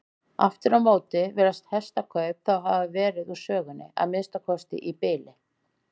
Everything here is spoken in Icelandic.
Aftur á móti virðast hestakaup þá hafa verið úr sögunni, að minnsta kosti í bili.